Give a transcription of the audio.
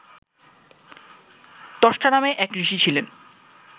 ত্বষ্টা নামে এক ঋষি ছিলেন